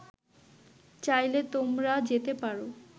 চাইলে তোমরা যেতে পার